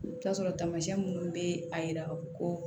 I bɛ taa sɔrɔ taamasiyɛn minnu bɛ a yira ka fɔ ko